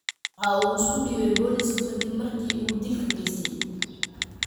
Waxa uu isku dhiibay booliiska kadib markii uu dilka geystay.